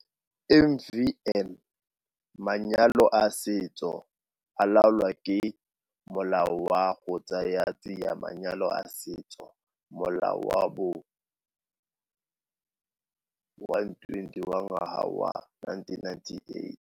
MvN - Manyalo a setso a laolwa ke Molao wa go Tsaya Tsia Manyalo a Setso, Molao wa bo 120 wa ngwaga wa 1998.